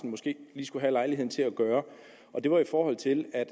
måske lige skulle have lejligheden til at gøre det var i forhold til at